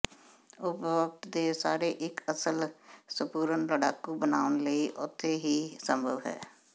ਉਪਰੋਕਤ ਦੇ ਸਾਰੇ ਇੱਕ ਅਸਲ ਸੰਪੂਰਣ ਲੜਾਕੂ ਬਣਾਉਣ ਲਈ ਉਥੇ ਹੀ ਸੰਭਵ ਹੈ